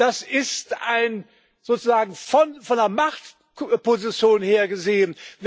Das ist sozusagen von einer Machtposition her gesehen.